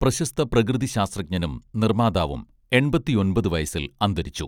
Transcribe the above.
പ്രശസ്ത പ്രകൃതി ശാസ്ത്രജ്ഞനും നിർമ്മാതാവും എൺപത്തിയൊൻപത് വയസ്സിൽ അന്തരിച്ചു